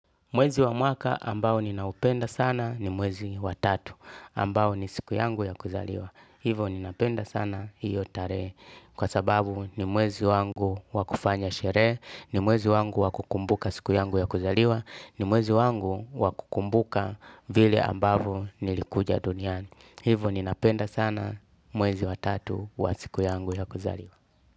Mwezi wa mwaka ambao ninaupenda sana ni mwezi wa tatu, ambao ni siku yangu ya kuzaliwa. Hivyo, ninapenda sana hiyo tarehe kwa sababu ni mwezi wangu wa kufanya sherehe, ni mwezi wangu wa kukumbuka siku yangu ya kuzaliwa, ni mwezi wangu wa kukumbuka vile ambavyo nilikuja duniani. Hivo ninapenda sana mwezi wa tatu wa siku yangu ya kuzaliwa.